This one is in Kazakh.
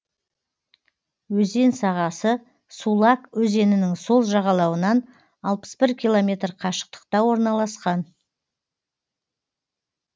өзен сағасы сулак өзенінің сол жағалауынан алпыс бір километр қашықтықта орналасқан